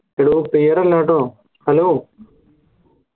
എടോ clear അല്ലാട്ടോ hello